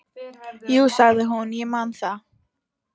Jú, sagði hún, ég man það.